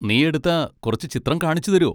നീ എടുത്ത കുറച്ച് ചിത്രം കാണിച്ചുതരോ?